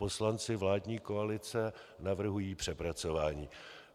Poslanci vládní koalice navrhují přepracování.